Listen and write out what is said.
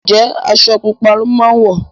Njé Aṣọ pupa ló má wọ?